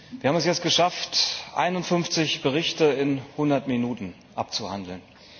Wir haben es jetzt geschafft, 51Berichte in 100Minuten abzuhandeln.